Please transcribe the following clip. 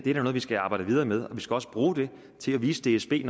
er noget vi skal arbejde videre med og vi skal også bruge det til at vise dsb